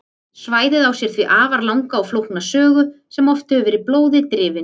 Svæðið á sér því afar langa og flókna sögu sem oft hefur verið blóði drifin.